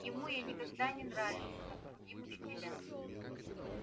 ему я никогда не нравился как другим учителям